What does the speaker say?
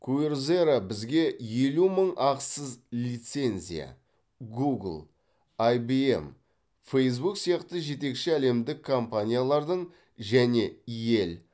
куерзера бізге елу мың ақысыз лицензия гугл айбиэм фейзбук сияқты жетекші әлемдік компаниялардың және йель